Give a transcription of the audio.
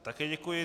Také děkuji.